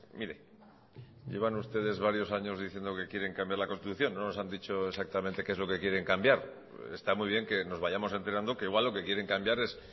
mire llevan ustedes varios años diciendo que quieren cambiar la constitución no nos han dicho exactamente qué es lo que quieren cambiar está muy bien que nos vayamos enterando que igual lo que quieren cambiar es